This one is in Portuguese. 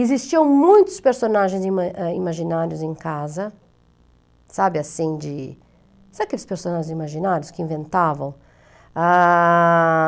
Existiam muitos personagens ima imaginários em casa, sabe assim, de... Sabe aqueles personagens imaginários que inventavam?